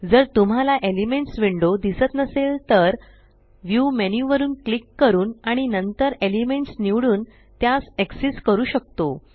जर तुम्हाला elements window दिसत नसेल तर व्ह्यू मेन्यू वर क्लिक करून आणि नंतर एलिमेंट्स निवडून त्यास एक्सेस करू शकतो